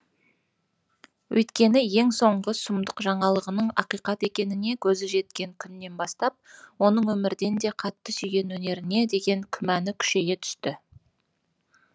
өйткені ең соңғы сұмдық жаңалығының ақиқат екеніне көзі жеткен күннен бастап оның өмірден де қатты сүйген өнеріне деген күмәны күшейе түсті